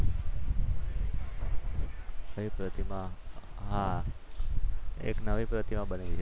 કઈ પ્રતિમા? હા એક નવી પ્રતિમા બનાવી છે.